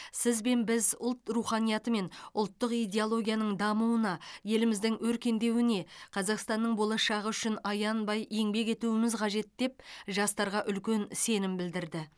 сіз бен біз ұлт руханияты мен ұлттық идеологияның дамуына еліміздің өркендеуіне қазақстанның болашағы үшін аянбай еңбек етуіміз қажет деп жастарға үлкен сенім білдірді